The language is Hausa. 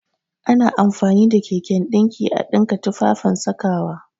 Ana amfani da keken ɗinki a ɗinka tufafen sakawa